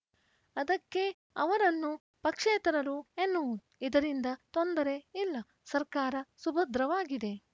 ಅದಕ್ಕೇ ಅವರನ್ನು ಪಕ್ಷೇತರರು ಎನ್ನುವುದು ಇದರಿಂದ ತೊಂದರೆ ಇಲ್ಲ ಸರ್ಕಾರ ಸುಭದ್ರವಾಗಿದೆ